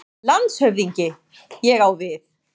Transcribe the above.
LANDSHÖFÐINGI: Ég á við.